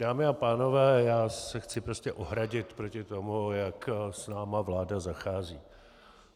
Dámy a pánové, já se chci prostě ohradit proti tomu, jak s námi vláda zachází.